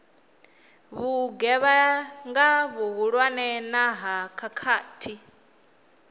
vhugevhenga vhuhulwane na ha khakhathi